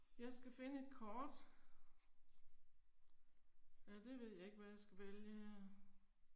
Jeg skal finde et kort. Ja det ved jeg ikke hvad jeg skal vælge her